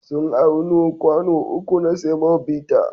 Sun auno kwano uku na semobita.